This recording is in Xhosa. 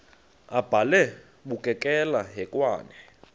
abhalwe bukekela hekwane